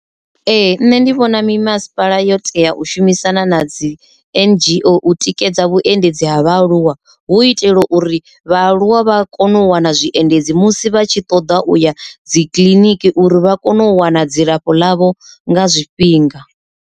Ee, nṋe ndi vhona mimasipala yo tea u shumisana na dzi N_G_O u tikedza vhuendedzi ha vhaaluwa, hu itela uri vhaaluwa vha kone u wana zwiendedzi musi vha tshi ṱoḓa u ya dzi kiliniki uri vha kone u wana dzilafho ḽavho nga zwifhinga.